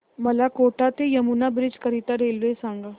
मला कोटा ते यमुना ब्रिज करीता रेल्वे सांगा